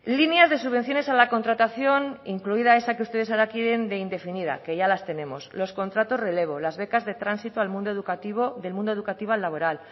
líneas de subvenciones a la contratación incluida esa que ustedes ahora quiere de indefinida que ya las tenemos los contratos relevo las becas de transito del mundo educativo al laboral